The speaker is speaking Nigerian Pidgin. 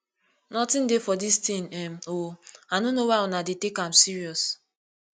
nothin dey for dis thing um oo i no know why una dey take am serious